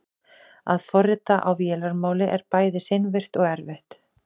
að forrita á vélarmáli er bæði seinvirkt og erfitt